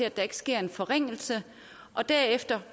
at der ikke sker en forringelse og derefter